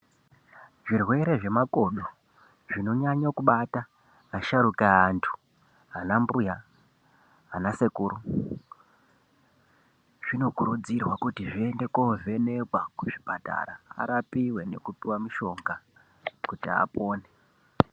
Zvirwere zvemakodo zvinonyanya kubata asharuka eantu ana mbuya, ana sekuru, zvinokurudzirwa kuti zviende kovhenekwa kuzvipatara arapiwe nekupiwe mushonga kuti apone.